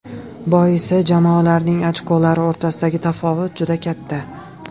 Boisi jamoalarning ochkolari o‘rtasidagi tafovut juda katta.